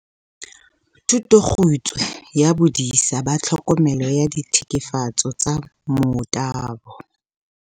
"Thutokgutshwe ya Bodisa ba Tlhokomelo ya Ditlhekefetso tsa Motabo."